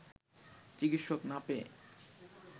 চিকিৎসক না পেয়ে